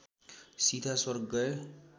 सीधा स्वर्ग गए